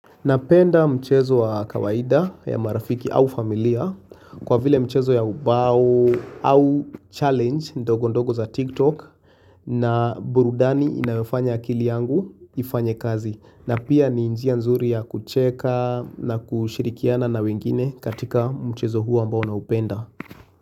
Napenda mchezo wa kawaida ya marafiki au familia kwa vile mchezo ya ubao au challenge ndogo ndogo za TikTok na burudani inayofanya akili yangu ifanye kazi. Na pia ni njia nzuri ya kucheka na kushirikiana na wengine katika mchezo huo ambao naupenda.